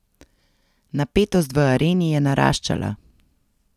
Napetost v areni je naraščala.